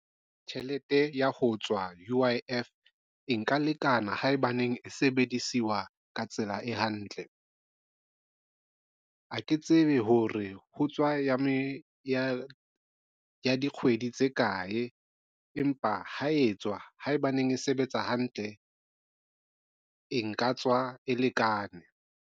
Tjhelete ya ho tswa U_I_F e nka lekana haebaneng e sebedisiwa ka tsela e hantle. Ha ke tsebe hore ho tswa ya dikgwedi tse kae empa ha e tswa haebaneng e sebetsa hantle, e nka tswa e lekane.